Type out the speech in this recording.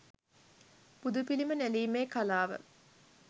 බුදුපිළිම නෙළීමේ කලාව